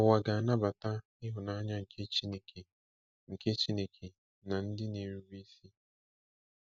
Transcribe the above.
Ụwa ga-anabata ịhụnanya nke Chineke nke Chineke na ndị na-erube isi.